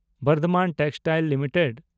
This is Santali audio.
Bardhaman textiles limited